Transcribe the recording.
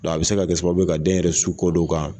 a be se ka kɛ sababu ye ka den yɛrɛ su kɔ don kan